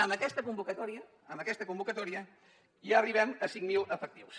amb aquesta convocatòria amb aquesta convocatòria ja arribem a cinc mil efectius